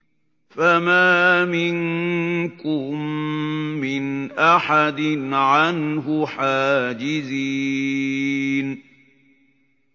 فَمَا مِنكُم مِّنْ أَحَدٍ عَنْهُ حَاجِزِينَ